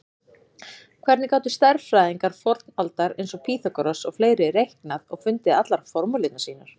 Hvernig gátu stærðfræðingar fornaldar eins og Pýþagóras og fleiri reiknað og fundið allar formúlurnar sínar?